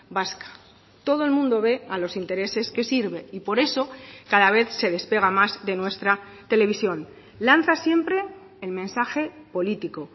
vasca todo el mundo ve a los intereses que sirve y por eso cada vez se despega más de nuestra televisión lanza siempre el mensaje político